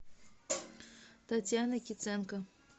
татьяна киценко